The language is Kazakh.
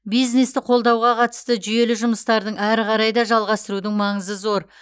бизнесті қолдауға қатысты жүйелі жұмыстарды әрі қарай да жалғастырудың маңызы зор